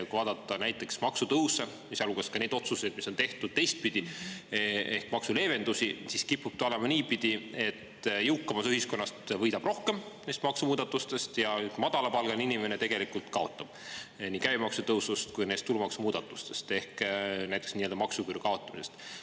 Kui vaadata näiteks maksutõuse, sealhulgas neid otsuseid, mis on tehtud teistpidi, ehk maksuleevendusi, siis kipub olema nii, et jõukam osa ühiskonnast võidab neist maksumuudatustest rohkem ja madalapalgaline inimene tegelikult kaotab nii käibemaksu tõusust kui ka neist tulumaksumuudatustest ehk näiteks nii-öelda maksuküüru kaotamisest.